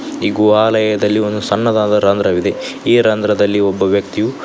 ಈ ಗುವಾಲಯದಲ್ಲಿ ಒಂದು ಸಣ್ಣದಾದ ರಂಧ್ರವಿದೆ ಈ ರಂದ್ರದಲ್ಲಿ ಒಬ್ಬ ವ್ಯಕ್ತಿಯು --